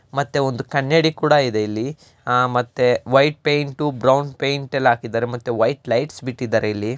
ಇಲ್ಲಿ ನಾವು ನೋಡಬಹುದು ಒಂದು ಗ್ರಂಥಾಲಯ ಇದೆ.